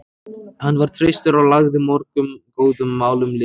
Hann var traustur og lagði mörgum góðum málum lið.